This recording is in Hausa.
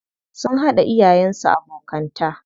Sun haɗa iyayen su abokanta.